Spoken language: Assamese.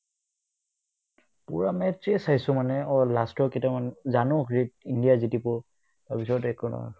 পূৰা match য়ে চাইচো মানে অ last কিটামান জানো হৃত ইণ্ডিয়া জিতিব তাৰপিছত একো নহ'ল